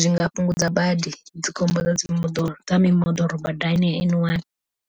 zwi nga fhungudza badi dzi khombo dza mimoḓoro dza mimoḓoro badani ya N one.